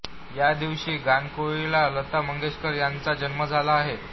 याच दिवशी गानकोकिळा लता मंगेशकर ह्यांचा जन्म झाला आहे